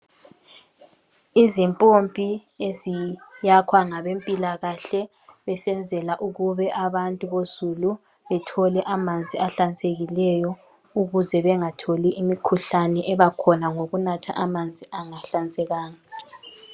Izimpompi eziyakhwa ngabempilakahle besenzela ukube abantu bozulu bethole amanzi ahlanzekileyo ukuze bengatholi imikhuhlane ebakhona ngokunatha amanzi angahlanzekanga.